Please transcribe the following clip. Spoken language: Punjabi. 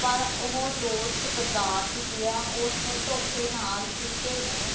ਪਰ ਓਹ ਦੋਸਤ ਗਦਾਰ ਨਿਕਲਿਆ ਓਸਨੇ ਧੋਖੇ ਨਾਲ਼ ਸੁੱਚੇ ਨੂੰ